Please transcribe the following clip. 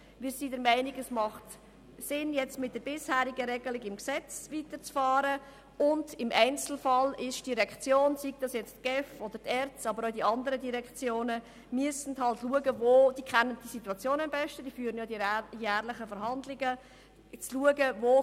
Wir sind der Meinung, dass es Sinn macht, mit der bisherigen Regelung im Gesetz weiterzufahren und im Einzelfall die GEF, die ERZ, aber auch die andern Direktionen den vorhandenen Spielraum beurteilen oder den zumutbaren Anteil an Eigenmitteln festlegen zu lassen;